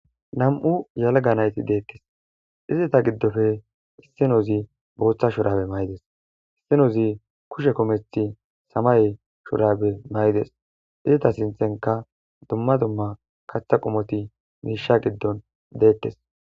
nam7u yalaga nayti deekkes izeta giddofe issinozi booththa shurabe maydes issinozi kushe komethi samay shurabe may7ides izita sinthenka dumma dumma katha qomoti miisha giddon deettes